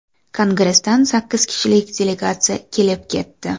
Kongressdan sakkiz kishilik delegatsiya kelib ketdi.